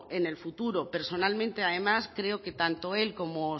en el futuro personalmente además creo que tanto él como